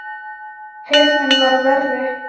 Heyrnin var verri.